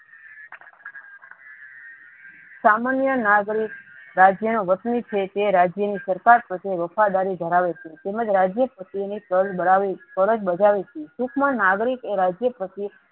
સમાન્ય નાગરિક રાજ્ય નુ વતની છે એ રાજ્ય ની સરકાર સાથે વફાધારી ધરાવે છે તેમજ રાજ્યે સાથે ની કર બડાવે કરજ બધાવે છે ટુંક માં નાગરિક એ રાજ્ય પ્રતિ